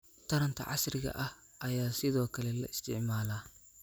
taranta casriga ah ayaa sidoo kale la isticmaalaa